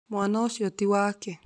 Mwana ũcio ti wake